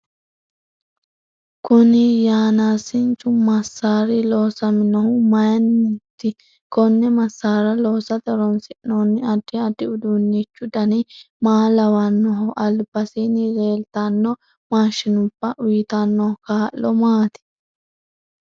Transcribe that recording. Kuni yanaasinchu masaari loosaminohu mayiinoti konne masaara loosate horoonsinooni addi addi uduunichu dani maa lawanoho albasiini leeltanno maashinubba uyiitanno kaa'lo maati